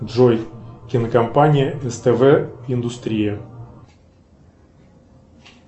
джой кинокомпания ств индустрия